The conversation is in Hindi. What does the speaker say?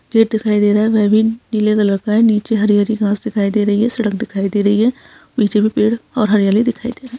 पेड़ दिखाई दे रहा है नीले कलर का है नीचे हरी-हरी घास दिखाई दे रही है सड़क दिखाई दे रही है पीछे भी पेड़ और हरियाली दिखाई दे रही --